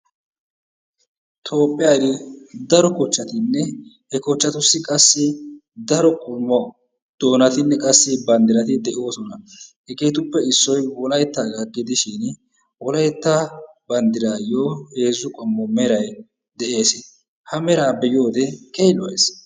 toophiyani daro kochchatinne he kochchatussi qassi daro qommo diinatinne bandirati de'oosona. hegeetuppe issoy wolayttaaga gidishin wolaytta bandiraayo heezu qomo meray des. ha meraa be'iyode keehi lo'ees.